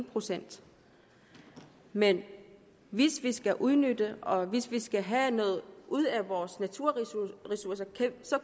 procent men hvis vi skal udnytte det og hvis vi skal have noget ud af vores naturressourcer